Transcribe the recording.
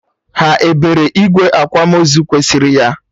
Ha ebere igwe akwamozu kwesịrị ya?